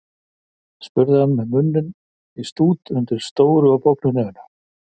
spurði hann með munninn í stút undir stóru og bognu nefinu.